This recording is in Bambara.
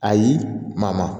Ayi maa maa